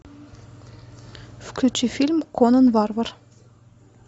включи фильм конан варвар